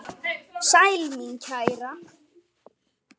Sæl mín kæra!